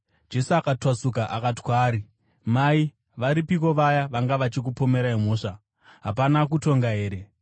Jesu akatwasuka akati kwaari, “Mai, varipiko vaya vanga vachikupomera mhosva? Hapana akutonga here?”